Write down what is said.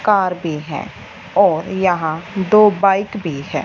Car भी है और यहां दो बाइक भी है।